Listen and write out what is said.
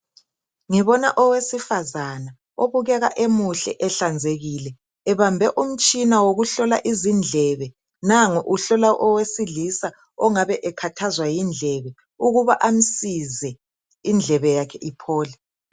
Ngibona owesifazana. Obukeka emuhle, ehlanzekile. Ebambe umtshina wokuhlola izindlebe. Nangu uhlola owesilisa, ongabe owesilisa, ongabe ekhathazwa yindlebe. Ukuba amsize, indlebe yakhe iphole.